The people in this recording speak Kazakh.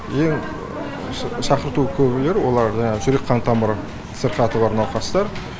ең шақырту көбілер олар жаңағы жүрек қан тамыр сырқаты бар науқастар